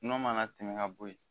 N'o mana tɛmɛ ka bo ye